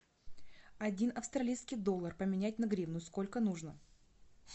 один австралийский доллар поменять на гривну сколько нужно